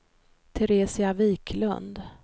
Teresia Wiklund